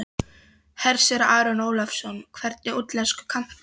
Hersir Aron Ólafsson: Hvernig útlensku kanntu?